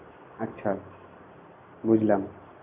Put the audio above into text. আচ্ছা বুঝলাম